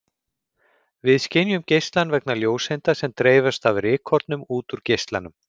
Við skynjum geislann vegna ljóseinda sem dreifast af rykkornum út úr geislanum.